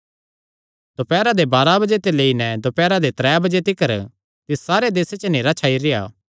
दोपैरा दे बाराह बजे ते लेई नैं दोपैरा दे त्रै बजे तिकर तिस सारे देसे च नेहरा छाई रेह्आ